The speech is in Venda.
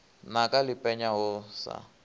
naka ḽi penya ho sa